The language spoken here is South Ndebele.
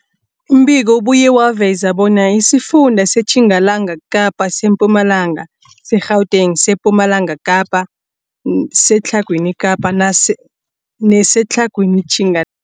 Umbiko ubuye waveza bona isifunda seTjingalanga Kapa, seMpumalanga, seGauteng, sePumalanga Kapa, seTlhagwini Kapa nase neseTlhagwini Tjinga